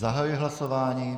Zahajuji hlasování.